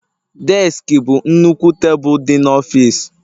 Deski bụ nnukwu tebụl dị n'ọfịs